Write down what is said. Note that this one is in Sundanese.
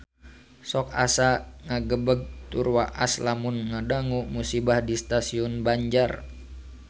Sok asa ngagebeg tur waas lamun ngadangu musibah di Stasiun Banjar